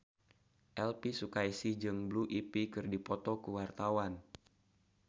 Elvi Sukaesih jeung Blue Ivy keur dipoto ku wartawan